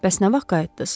Bəs nə vaxt qayıtdız?